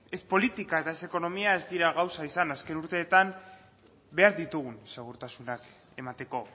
ez politika eta ez ekonomia ez dira gauza izan azken urteetan behar ditugun segurtasunak emateko